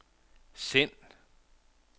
send